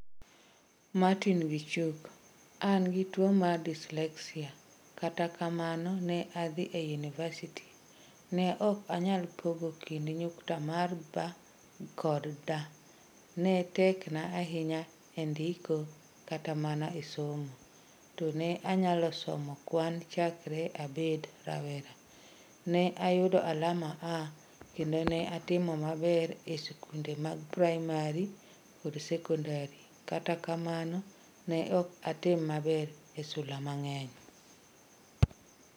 Martin Gichuk: 'An gi tuwo mar dyslexia, kata kamano ne adhi e yunivasiti' Ne ok anyal pogo kind Nyukta mag 'B' kod 'D' ne tekna ahinya e ndiko kata mana e somo, to ne anyalo somo kwano chakre abed rawera. Ne ayudo alama A, kendo ne atimo maber e skunde mag praimari koda sekondari, kata kamano, ne ok atim maber e sula mang'eny.